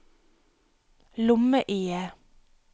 lomme-IE